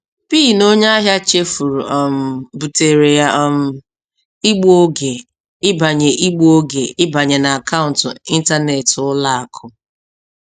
PIN onye ahịa chefuru um butere ya um igbu oge ịbanye igbu oge ịbanye n'akaụntụ ịntanetị ụlọ akụ.